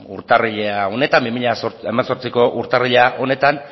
urtarrila honetan bi mila hemezortziko urtarrila honetan